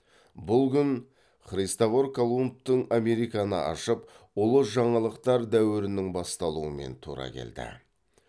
бұл күн христвор колумбтың американы ашып ұлы жаңалықтар дәуірінің басталуымен тура келді